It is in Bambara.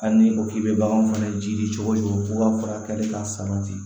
Hali n'i ko k'i bɛ bagan fɛnɛ jii cogo di fo ka fara a kɛli ka sabati